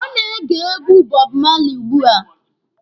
Ọ na-ege egwu Bob Marley ugbua.